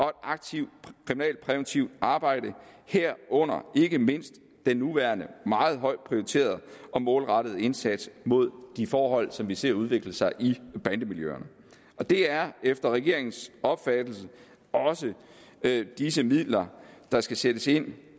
aktivt kriminalpræventivt arbejde herunder ikke mindst den nuværende meget højt prioriterede og målrettede indsats mod de forhold som vi ser udvikle sig i bandemiljøerne det er efter regeringens opfattelse også disse midler der skal sættes ind